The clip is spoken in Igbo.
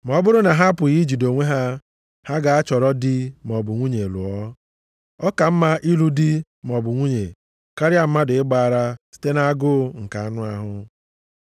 Ma ọ bụrụ na ha apụghị ijide onwe ha, ha gaa chọrọ di maọbụ nwunye lụọ. Ọ ka mma ịlụ di maọbụ nwunye, karịa mmadụ ịgba ara site nʼagụụ nke anụ ahụ.